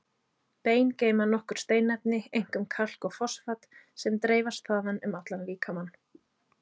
Bein geyma nokkur steinefni, einkum kalk og fosfat, sem dreifast þaðan um allan líkamann.